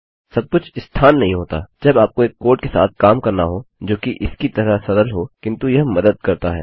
सब कुछ स्थान नहीं होता जब आपको एक कोड के साथ सामना करना हो जो इसकी तरह सरल हो किन्तु यह मदद करता है